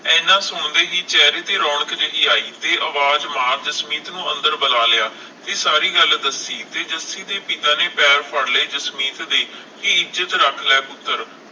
ਹਨ ਸੁਣਦੇ ਹੀ ਚੇਹਰੇ ਤੇ ਰੌਣਕ ਜਿਹੀ ਆਈ ਤੇ ਅਵਾਜ ਮਾਰ ਜਸਮੀਤ ਨੂੰ ਅੰਦਰ ਬੁਲਾ ਲਿਆ, ਤੇ ਸਾਰੀ ਗੱਲ ਦਸੀ ਤੇ ਜੱਸੀ ਦੇ ਪਿਤਾ ਨੇ ਪੈਰ ਫੜ੍ਹ ਲਏ ਜਸਮੀਤ ਦੇ ਕਿ ਇੱਜਤ ਰੱਖ ਲੈ ਪੁੱਤਰ